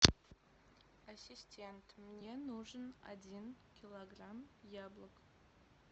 ассистент мне нужен один килограмм яблок